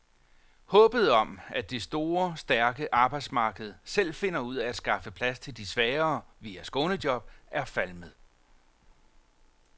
Håbet om, at det store, stærke arbejdsmarked selv finder ud af at skaffe plads til de svagere via skånejob, er falmet.